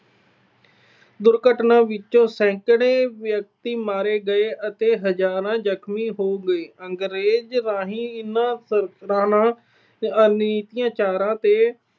ਦੁਰਘਟਨਾ ਵਿੱਚ ਸੈਂਕੜੇ ਵਿਅਕਤੀ ਮਾਰੇ ਗਏ ਅਤੇ ਹਜਾਰਾਂ ਜਖਮੀ ਹੋ ਗਏ। ਅੰਗਰੇਜ ਦੇ ਇਨ੍ਹਾਂ ਤੇ ਅੱਤਿਆਚਾਰਾਂ ਨੇ